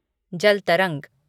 जल तरंग